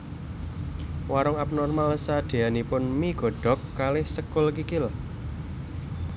Warunk Upnormal sadeanipun mie godhog kalih sekul kikil